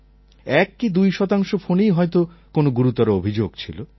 এক কি দুই শতাংশ ফোনেই হয়ত কোনও গুরুতর অভিযোগ ছিল